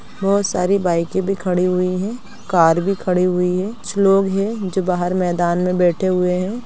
बहुत सारी बाइके भी खड़ी हुई है कार भी खड़ी हुई है कुछ लोग हैं जो बाहर मैदान में बैठे हुए हैं।